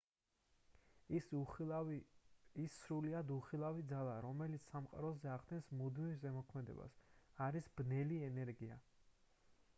ის სრულიად უხილავი ძალაა რომელიც სამყაროზე ახდენს მუდმივ ზემოქმედებას არის ბნელი ენერგია